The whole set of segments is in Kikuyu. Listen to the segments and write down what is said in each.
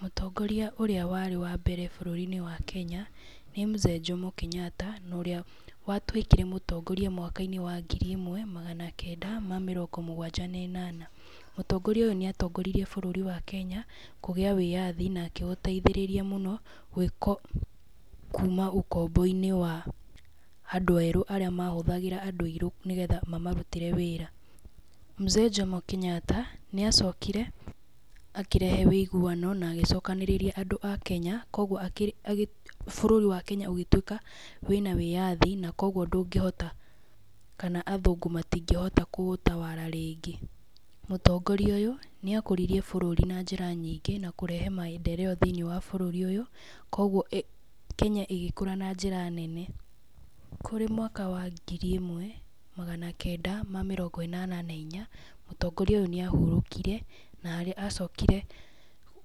Mũtongoria ũrĩa warĩ wa mbere bũrũri-inĩ wa Kenya, nĩ Mzee Jomo Kenyatta, na ũrĩa watuĩkire mũtongoria mwaka-inĩ wa ngiri ĩmwe na magana kenda ma mĩrongo mũgwanja na inyanya. Mũtongoria ũyũ, nĩatongoririe bũrũri wa Kenya kũgĩa wĩyathi na akĩũteithĩrĩria mũno kuma ũkombo-inĩ wa andũ erũ, arĩa mahũthagĩra andũ airũ, nĩgetha mamarũtĩre wĩra. Mzee Jomo Kenyata nĩacokire, akĩrehe ũiguano, na agĩcokanĩrĩrĩa andũ a Kenya, koguo akĩ, bũrũri wa Kenya ũgĩtuĩka wĩna wĩyathi na koguo ndũngĩhota, kana athũngũ matingĩhota kũũtawara rĩngĩ. Mũtongorĩa ũyũ , nĩakũririe bũrũri na njĩra nyingĩ na kũrehe maendeleo na njĩra nyingĩ, koguo Kenya ĩgĩkũra na njĩra nene. Kũrĩ mwaka wa ngiri ĩmwe magana kenda na mĩrongo ĩnana na inya, mũtongoria ũyũ nĩ ahurũkire, na harĩa acokire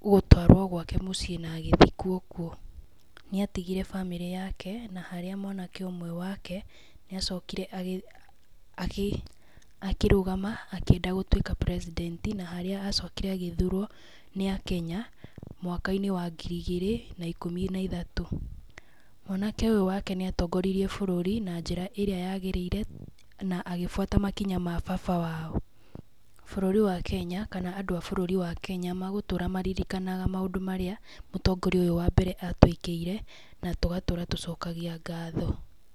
gũtwarwo gwake mũciĩ na agĩthikwo kuo. Nĩatigire bamĩrĩ yaje, na harĩa mwanake ũmwe wake, nĩ acokire agĩ, akĩrũgama nĩgetha atũĩke president na harĩa acokire agĩthurwo nĩ akenya, mwaka-inĩ wa ngiri igĩrĩ na ĩkumĩ na ithatũ. Mwanake ũyũ wake nĩ atongoririe bũrũri na njĩra ĩrĩa yagĩrĩire, na agĩbuata makinya ma baba wao. Bũrũri wa Kenya, kana andũ a Kenya megũtũra marĩrĩkanaga maũndũ marĩa mũtongoria ũyũ wa mbere atũĩkĩire, na tũgatũra tũcokagia ngatho.